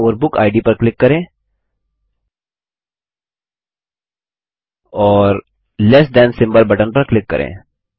दायीं ओर बुकिड पर क्लिक करें और लेस थान सिम्बल बटन पर क्लिक करें